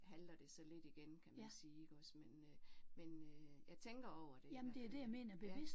Halter det så lidt igen kan man sige iggås men øh men øh jeg tænker over det i hvert fald